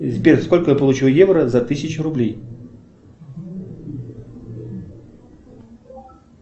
сбер сколько я получу евро за тысячу рублей